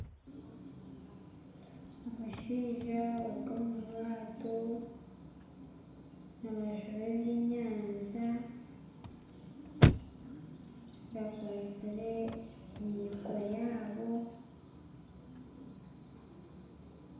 Abashaija bari omu bwato nibajuba ebyenyanja bakwatsire emiiko yabo .